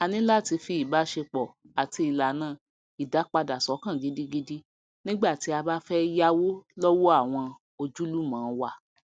aní lá ti fi ìbáṣepọ àti ìlànà ìdápadà sọkàn gidigidi nígbà tí a bá fẹ yáwó lówó àwọn ojúlùmọ wa